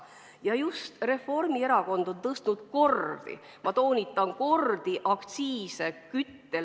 Ja just Reformierakond on tõstnud kordi – ma toonitan, kordi!